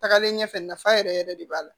Tagalen ɲɛfɛ nafa yɛrɛ yɛrɛ de b'a la